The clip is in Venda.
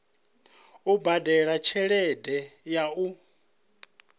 u badela tshelede ya u